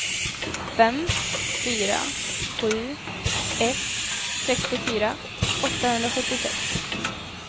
fem fyra sju ett sextiofyra åttahundrasjuttiosex